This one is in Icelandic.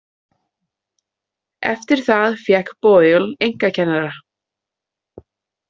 Eftir það fékk Boyle einkakennara.